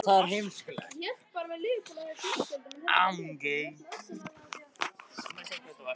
Sigvaldi, hvaða mánaðardagur er í dag?